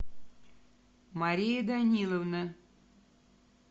мария даниловна